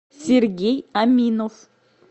сергей аминов